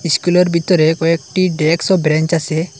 স্কুলের ভিতরে কয়েকটি ডেস্ক ও ব্রেঞ্চ আছে।